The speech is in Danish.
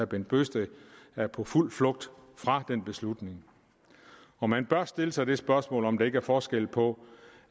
bent bøgsted er på fuld flugt fra den beslutning og man bør stille sig det spørgsmål om der ikke er forskel på